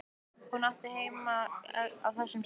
Hún átti heima á þessum stað.